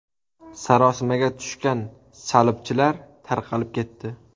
Sarosimaga tushgan salibchilar tarqalib ketdi.